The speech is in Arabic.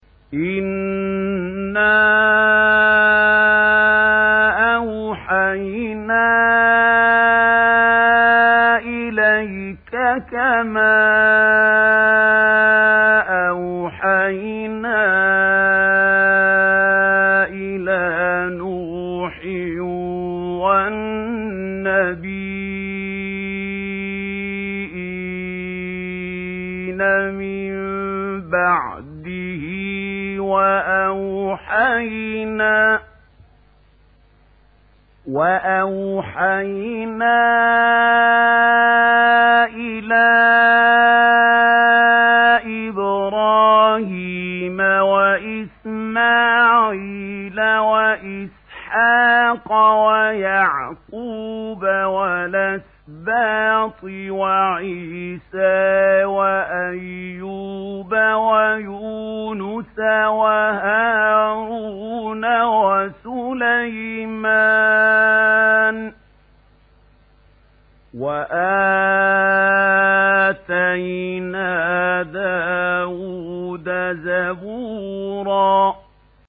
۞ إِنَّا أَوْحَيْنَا إِلَيْكَ كَمَا أَوْحَيْنَا إِلَىٰ نُوحٍ وَالنَّبِيِّينَ مِن بَعْدِهِ ۚ وَأَوْحَيْنَا إِلَىٰ إِبْرَاهِيمَ وَإِسْمَاعِيلَ وَإِسْحَاقَ وَيَعْقُوبَ وَالْأَسْبَاطِ وَعِيسَىٰ وَأَيُّوبَ وَيُونُسَ وَهَارُونَ وَسُلَيْمَانَ ۚ وَآتَيْنَا دَاوُودَ زَبُورًا